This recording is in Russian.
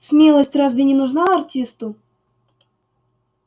смелость разве не нужна артисту